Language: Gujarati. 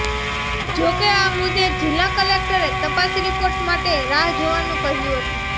જો કે આ મુદ્દે જિલ્લા કલેક્ટરે તપાસ રીપોર્ટ માટે રાહ જોવાનું કહ્યું હતું